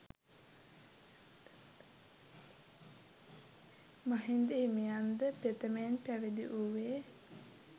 මහින්ද හිමියන් ද ප්‍රථමයෙන් පැවිදි වූයේ